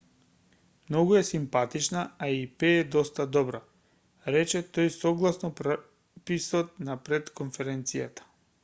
многу е симпатична а и пее доста добро рече тој согласно преписот на пред-конференцијата